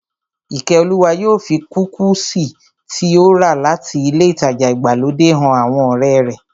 Ìkẹ́olúwa yóò fi kúkìsì tí ó rà láti ilé ìtajà ìgbàlódé han àwọn ọ̀rẹ́ rẹ̀